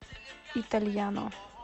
итальяно